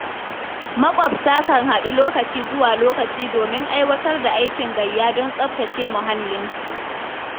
Makwabtaka kan haɗu lokaci zuwa lokaci, domin aiwatar da aikin gayya, don tsabtace muhallinsu.